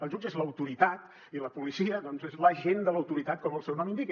el jutge és l’autoritat i la policia doncs és l’agent de l’autoritat com el seu nom indica